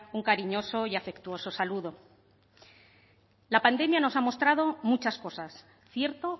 un cariñoso y afectuoso saludo la pandemia nos ha mostrado muchas cosas cierto